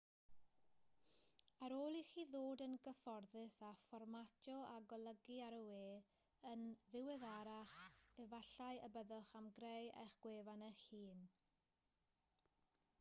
ar ôl i chi ddod yn gyfforddus â fformatio a golygu ar y we yn ddiweddarach efallai y byddwch am greu eich gwefan eich hun